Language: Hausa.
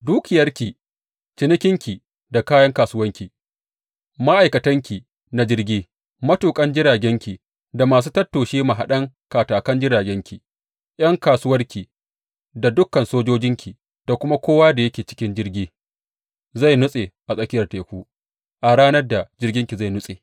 Dukiyarki, cinikinki da kayan kasuwarki, ma’aikatanki na jirgi, matuƙan jiragenki da masu tattoshe mahaɗan katakan jiragenki, ’yan kasuwarki da dukan sojojinki, da kuma kowa da yake cikin jirgi zai nutsa a tsakiyar teku a ranar da jirginki zai nutse.